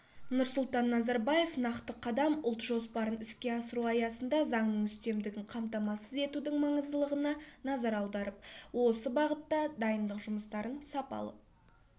нұрсұлтан назарбаев нақты қадам ұлт жоспарын іске асыру аясында заңның үстемдігін қамтамасыз етудің маңыздылығына назар аударып осы бағытта дайындық жұмыстарын сапалы